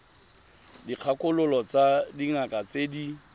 dikgakololo tsa dingaka tse di